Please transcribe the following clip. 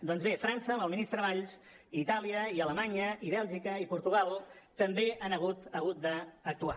doncs bé frança amb el ministre valls i itàlia i alemanya i bèlgica i portugal també han hagut d’actuar